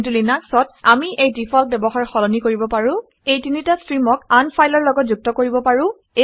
কিন্তু লিনাক্সত আমি এই ডিফ্লট ব্যৱহাৰ সলনি কৰিব পাৰো এই তিনিটা ষ্ট্ৰীমক আন ফাইলৰ লগত যুক্ত কৰিব পাৰোঁ